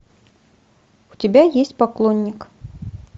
у тебя есть поклонник